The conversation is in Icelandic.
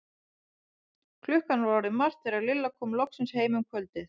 Klukkan var orðin margt þegar Lilla kom loksins heim um kvöldið.